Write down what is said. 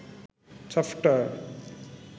software